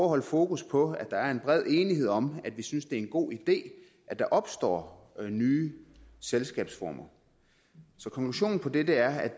holde fokus på at der er en bred enighed om at vi synes at det er en god idé at der opstår nye selskabsformer konklusionen på det er at